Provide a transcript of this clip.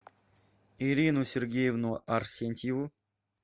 ирину сергеевну арсентьеву